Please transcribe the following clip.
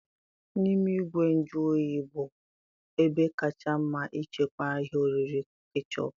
N'ime igwe nju oyi bụ ebe kacha mma ịchekwa ihe oriri kechọp